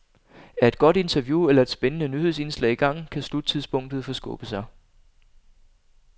Er et godt interview eller et spændende nyhedsindslag i gang, kan sluttidspunktet forskubbe sig.